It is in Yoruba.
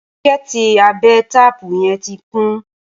bokiti Abe taapu yen tí kún